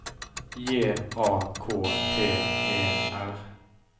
J A K T E R